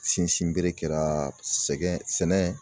Sinsin bere kɛraaa sɛgɛn sɛnɛ